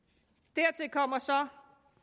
dertil kommer så